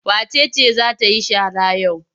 Wace ce za ta yi shara yau?